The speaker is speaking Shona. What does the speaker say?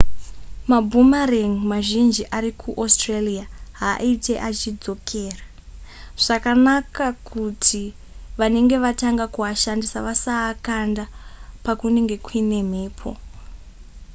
maboomerang mazhinji ari kuaustralia haaite achidzokera zvakanaka kuti vanenge vatanga kuashandisa vasaakanda pakunenge kuine mhepo